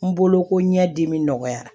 N bolo ko ɲɛdimi nɔgɔyara